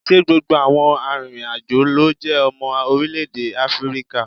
Ṣé gbogbo àwọn arìnrìn-àjò ló jẹ́ ọmọ orílẹ̀ èdè Áfíríkà?